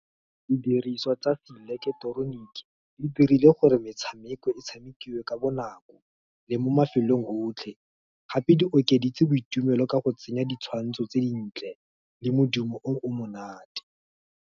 Di diriswa tsa seileketeroniki, di dirile gore metshameko, e tshamekiwe ka bonako, le mo mafelong otlhe, gape di okeditse boitumelo ka go tsenya ditshwantsho tse dintle, le modumo o o monate.